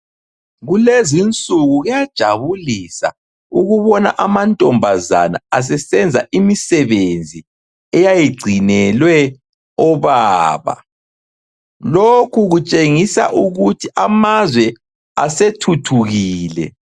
Kulezinsuku kuyajabulisa ukubona amantombazana asesenza imisebenzi eyayigcinelwe obaba. Lokhu kutshengisa ukuthi amazwe asethuthukile.